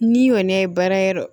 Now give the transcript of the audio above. Ni kɔni ye baara yɔrɔ